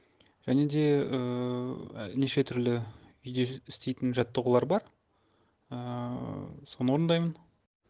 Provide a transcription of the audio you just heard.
және де ііі неше түрлі үйде істейтін жаттығулар бар ііі соны орындаймын